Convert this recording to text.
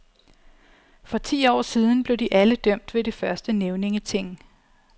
For ti år siden blev de alle dømt ved det første nævningeting.